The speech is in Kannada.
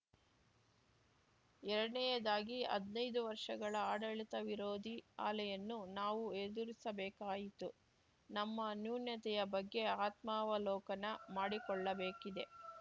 ಎರಡನೇಯದಾಗಿ ಹದ್ನೈದು ವರ್ಷಗಳ ಆಡಳಿತ ವಿರೋಧಿ ಅಲೆಯನ್ನು ನಾವು ಎದುರಿಸಬೇಕಾಯಿತು ನಮ್ಮ ನ್ಯೂನತೆಯ ಬಗ್ಗೆ ಆತ್ಮಾವಲೋಕನ ಮಾಡಿಕೊಳ್ಳಬೇಕಿದೆ